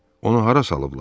Onu hara salıblar?